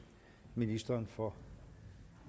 ministeren for